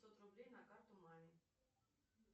пятьсот рублей на карту маме